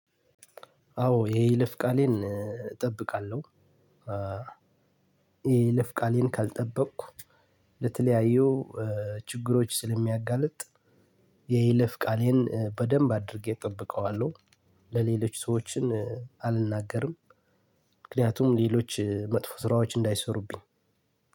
አዎ የይለፍ ቃሌን እጠብቃለሁ። የይለፍ ቃሌን ካልጠበኩ ለተለያዩ ችግሮች ስለሚያጋልጥ። የይለፍ ቃሌን በደንብ አድርጌ እጠብቀዋለሁ። ለሌሎች ሰዎችን አልናገርም። ምክንያቱም ሌሎች መጥፎ ስራዎች እንዳይሰሩብኝ